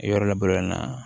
Yɔrɔ labololen na